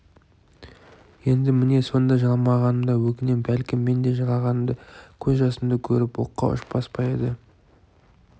енді міне сонда жыламағаныма өкінем бәлкім мен де жылағанымда көз жасымды көріп оққа ұшпас па еді